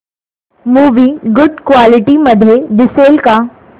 movie good quality मध्ये दिसेल का